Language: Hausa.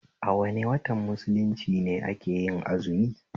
A wane watan mulunci ne akeyin azumi?